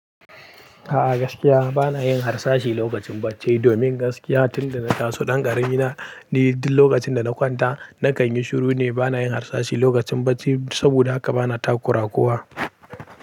A gaskiya bana yin harsashi lokacin bacci domin gaskiya tunda na taso ɗan ƙarami na ni duk lokacin da na kwanta nakan yi shiru ne bana yin harsashi lokacin bacci saboda haka bana takura wa kowa.